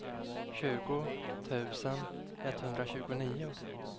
tjugo tusen etthundratjugonio